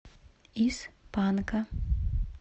из панка